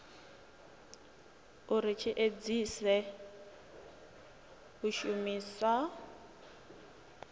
uri tshi edzise u shumisa